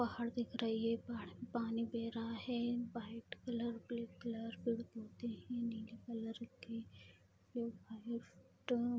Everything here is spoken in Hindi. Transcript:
पहाड़ दिख रही है पहाड़ से पानी बह रहा है व्हाइट कलर ब्लैक कलर पेड़-पौधे हैं नीले कलर के --